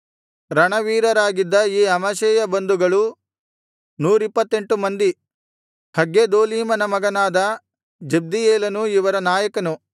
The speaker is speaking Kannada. ರಣವೀರರಾಗಿದ್ದ ಈ ಅಮಷ್ಷೈಯ ಬಂಧುಗಳು ನೂರಿಪ್ಪತ್ತೆಂಟು ಮಂದಿ ಹಗ್ಗೆದೋಲೀಮನ ಮಗನಾದ ಜಬ್ದೀಯೇಲನು ಇವರ ನಾಯಕನು